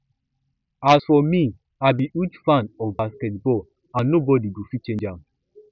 as for me i be huge fan of basket ball and nobody go fit change am